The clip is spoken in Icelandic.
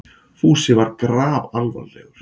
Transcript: Fúsi var grafalvarlegur.